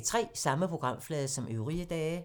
Samme programflade som øvrige dage